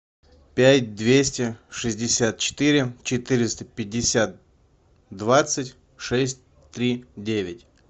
пять двести шестьдесят четыре четыреста пятьдесят двадцать шесть три девять